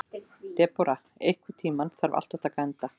Debóra, einhvern tímann þarf allt að taka enda.